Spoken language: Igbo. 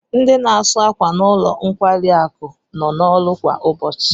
Ndi n'asu ákwà n'ulo nkwarisi akụ no na oru kwa ubochi